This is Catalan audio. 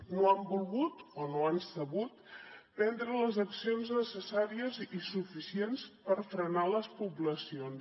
no han volgut o no han sabut prendre les accions necessàries i suficients per frenar les poblacions